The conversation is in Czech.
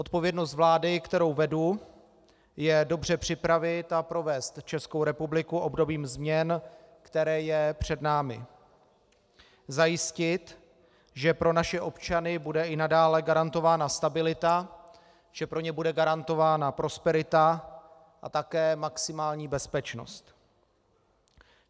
Odpovědnost vlády, kterou vedu, je dobře připravit a provést Českou republiku obdobím změn, které je před námi, zajistit, že pro naše občany bude i nadále garantována stabilita, že pro ně bude garantována prosperita a také maximální bezpečnost.